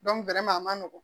a ma nɔgɔn